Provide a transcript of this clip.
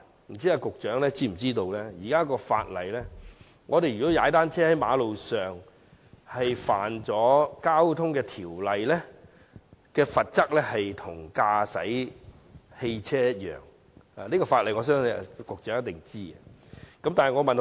不知道局長是否知道，根據現行法例，在馬路上踏單車違反《道路交通條例》，其罰則與駕駛汽車相同，我相信局長一定知道這項法例。